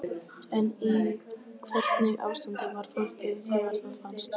En í hvernig ástandi var fólkið þegar það fannst?